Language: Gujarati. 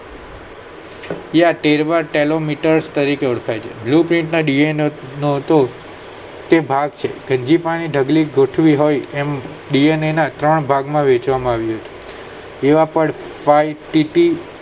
ટેરવા telometer તરીકે ઓળખાય છે blueprint ના DNA તો તે ભાગ છે ની ઢગલી ગોઠવી હોય એમ DNA ના ત્રણ ભાગમાં વહેંચવામાં આવ્યા છે